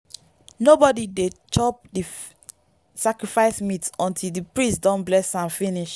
harvest sacrifice dey make our family tight and make our unity strong wella for di next farming season.